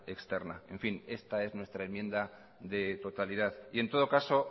externa esta es nuestra enmienda de totalidad en todo caso